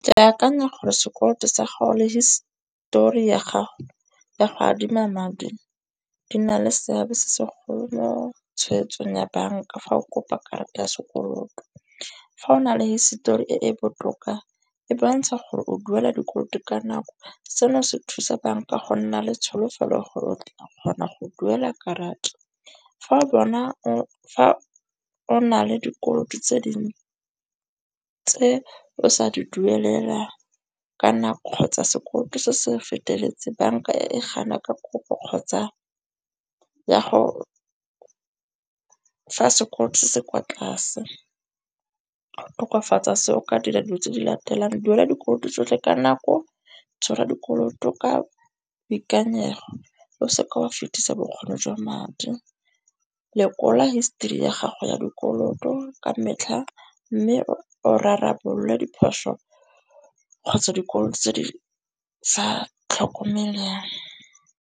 Ke akanya gore sekoloto sa gagwe histori ya gago ya go adima madi di na le seabe se se golo mo tshegetsong ya banka fa o kopa karata ya sekoloto. Fa o na le hisetori e e botoka, e bontsha gore o duela dikoloto ka nako seno se thusa banka go nna le tsholofelo gore o tla kgona go duela karata. Fa o na le dikoloto tse o sa di duelela ka nako kgotsa sekoloto se se feteletseng, banka e gana ka kopo kgotsa ya go fa sekoloto se se kwa tlase. Tokafatsa seo o ka dira dilo tse di latelang, go duela dikoloto tsotlhe ka nako, tshwara dikoloto ka boikanyego, o seke wa fetisa bokgoni jwa madi, lekola history ya gago ya dikoloto ka metlha mme o rarabolwe diphoso kgotsa dikolo tse di sa tlhokomelang.